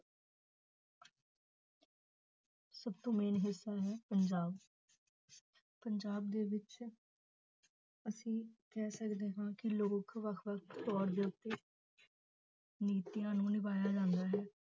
ਸਭ ਤੋਂ main ਹਿੱਸਾ ਹੈ ਪੰਜਾਬ ਪੰਜਾਬ ਦੇ ਵਿੱਚ ਅਸੀਂ ਕਹਿ ਸਕਦੇ ਹਾਂ ਕਿ ਲੋਕ ਵੱਖ ਵੱਖ ਤੌਰ ਦੇ ਉੱਤੇ ਨੀਤੀਆਂ ਨੂੰ ਨਿਭਾਇਆ ਜਾਂਦਾ ਹੈ